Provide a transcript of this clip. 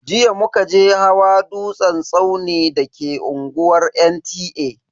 Jiya muka je hawa dutsen tsauni da ke unguwar NTA.